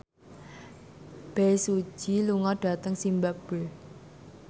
Bae Su Ji lunga dhateng zimbabwe